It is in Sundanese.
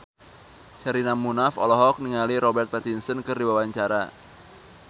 Sherina Munaf olohok ningali Robert Pattinson keur diwawancara